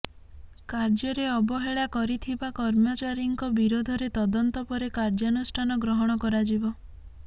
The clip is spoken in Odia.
କାର୍ଯ୍ୟରେ ଅବହେଳା କରିଥିବା କର୍ମଚାରୀଙ୍କ ବିରୋଧରେ ତଦନ୍ତ ପରେ କାର୍ଯ୍ୟାନୁଷ୍ଠାନ ଗ୍ରହଣ କରାଯିବ